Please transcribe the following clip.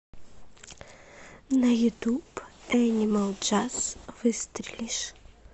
на ютуб энимал джаз выстрелишь